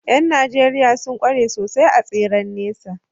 ’Yan Najeriya sun kware sosai a tseren nesa